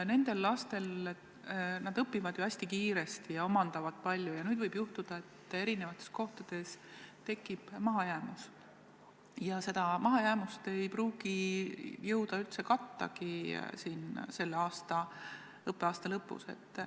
Need lapsed õpivad hästi kiiresti ja omandavad palju ning nüüd võib juhtuda, et erinevates kohtades tekib mahajäämus ja seda mahajäämust ei pruugi selle õppeaasta lõpuks jõuda üldse katta.